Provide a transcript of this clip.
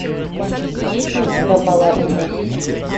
есть ли у тебя баллада несси